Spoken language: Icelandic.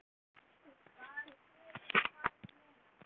Hvað gerir hann nú?